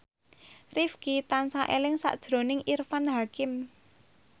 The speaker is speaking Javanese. Rifqi tansah eling sakjroning Irfan Hakim